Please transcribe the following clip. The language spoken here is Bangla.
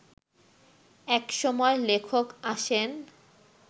এক সময় লেখক আসেন